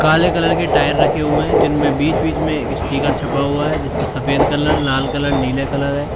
काले कलर के टायर रखे हुए हैं जिनमें बीच बीच में स्टीकर छपा हुआ है जिसपे सफेद कलर लाल कलर नीले कलर है।